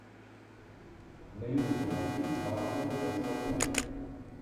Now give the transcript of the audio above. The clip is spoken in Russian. на ютубе найти маскоу тесла клуб